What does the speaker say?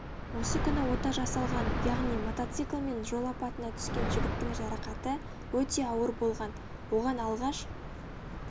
осы күні ота жасалған яғни мотоциклмен жол апатына түскен жігіттің жарақаты өте ауыр болған оған алғаш